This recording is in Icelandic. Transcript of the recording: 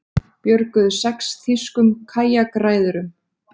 Björguðu sex þýskum kajakræðurum